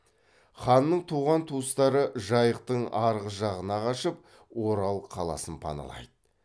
ханның туған туыстары жайықтың арғы жағына қашып орал қаласын паналайды